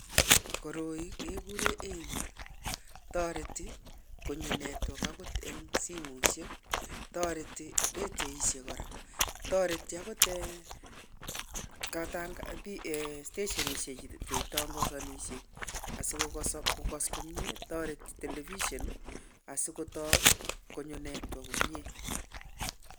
Koroi kegure Aerial toreti konyo netwok agot eng simosiek toreti ratioishek. Kora toreti agot stationishek chuitangazanishe asikokas komnyee toreti television asikonyo network komnye.